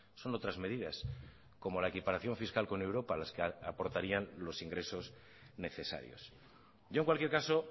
son otras medidas como la equiparación fiscal con europa las que aportarían los ingresos necesarios yo en cualquier caso